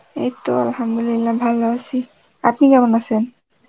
এইত Arbi ভালো আছি, আপনি কেমন আছেন?